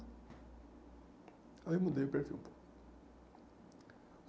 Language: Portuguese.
Aí eu mudei o perfil um pouco.